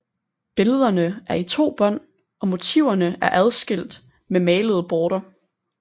Billederne er i to bånd og motiverne er adskilt med malede borter